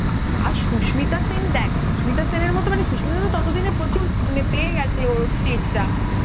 আর সুস্মিতা সেন দেখ সুস্মিতা সেন এর মত সুস্মিতা সেন তো তোতো দিনে প্রচুর পেয়ে গেছে ওর stage টা